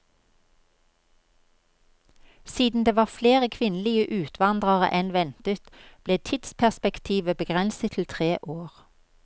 Siden det var flere kvinnelige utvandrere enn ventet, ble tidsperspektivet begrenset til tre år.